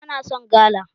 Bana son gala